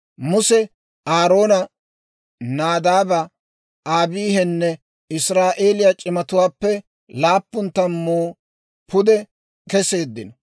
Muse, Aaroone, Naadaabe, Abiihinne Israa'eeliyaa c'imatuwaappe laappun tammuu pude keseeddino.